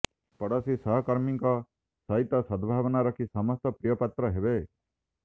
ପଡ଼ୋଶୀ ଓ ସହକର୍ମରୀଙ୍କ ସହିତ ସଦ୍ଭାବନା ରଖି ସମସ୍ତଙ୍କ ପ୍ରିୟ ପାତ୍ର ହେବେ